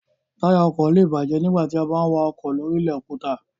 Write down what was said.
Táyà ọkọ̀ lé è bàjẹ́ nígbà tí a bá ń wa ọkọ̀ lóri ilẹ̀ òkúta